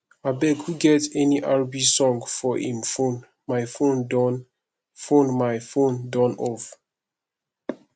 abeg who get any rb song for im phonemy phone Accepted phonemy phone Accepted off